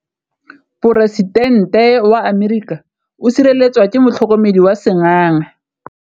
Poresitêntê wa Amerika o sireletswa ke motlhokomedi wa sengaga.